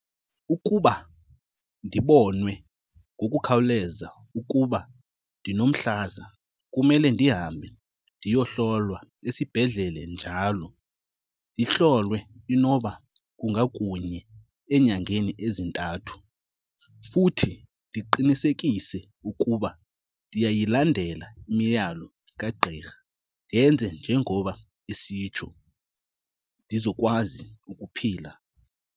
Ukuba ndibonwe ngokukhawuleza ukuba ndinomhlaza kumele ndihambe ndiyohlolwa esibhedlele njalo. Ndihlolwe inoba kunga kunye enyangeni ezintathu. Futhi ndiqinisekise ukuba ndiyayilandela imiyalo kagqirha ndenze njengoba esitsho, ndizokwazi ukuphila.